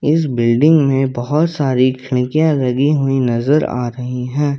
इस बिल्डिंग में बहुत सारी खिड़कियां लगी हुई नजर आ रही है।